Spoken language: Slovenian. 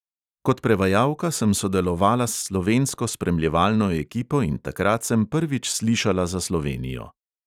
Kot prevajalka sem sodelovala s slovensko spremljevalno ekipo in takrat sem prvič slišala za slovenijo.